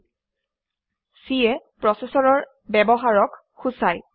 C এ প্ৰচেচৰৰ ব্যৱহাৰক সূচায়